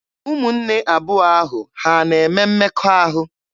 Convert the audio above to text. Ụmụnne abụọ ahụ ha na-eme mmekọahụ?